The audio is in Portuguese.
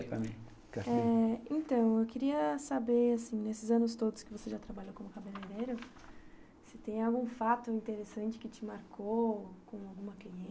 Eh... Então, eu queria saber, assim, nesses anos todos que você já trabalhou como cabeleireiro, se tem algum fato interessante que te marcou, com alguma cliente